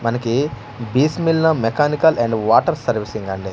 మనకి Bismillah mechanical and water servicing అండి--